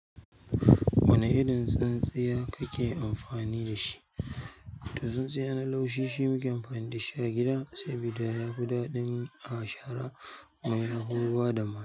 Wane irin tsintsiya kake amfani da shi? To, tsintsiya na laushi shi muke amfani da shi a gida, sabida yafi daɗi a shara kuma yafi bada.